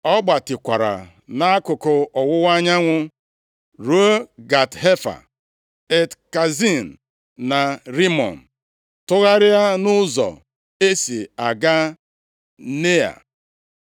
Ọ gbatịkwara nʼakụkụ ọwụwa anyanwụ ruo Gat Hefa, Et Kazin na Rimọn, tụgharịa nʼụzọ e si aga Nea.